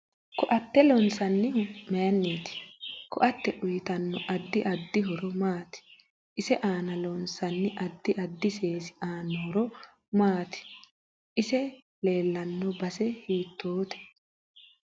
Ko'atte loonsanihu mayiiniiti ko'atte uyiitanno addi addi horo maati isi aana loonsooni addi addi seesi aano horo maati isi leelanno base hiitoote